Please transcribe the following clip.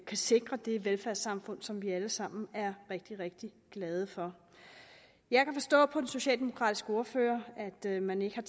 kan sikre det velfærdssamfund som vi alle sammen er rigtig rigtig glade for jeg kan forstå på den socialdemokratiske ordfører at man ikke